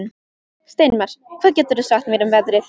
Steinmar, hvað geturðu sagt mér um veðrið?